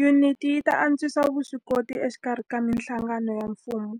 Yuniti yi ta antswisa vuswikoti exikarhi ka mihlangano ya mfumo